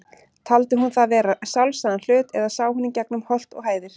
Taldi hún það vera sjálfsagðan hlut, eða sá hún í gegnum holt og hæðir?